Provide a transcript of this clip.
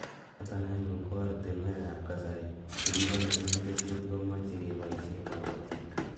Noto anyun ko oratinwekab kasari che kikonore kesutik komochei keboisie kobotik